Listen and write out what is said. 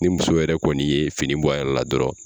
Ni muso yɛrɛ kɔni ye fini bɔ a yɛrɛ la dɔrɔn